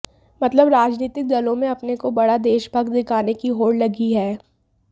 मतलब राजनीतिक दलों में अपने को बड़ा देशभक्त दिखाने की होड़ लगी है